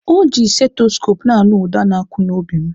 Ọji seteskopu na-anụ uda na-akụ n'obi m.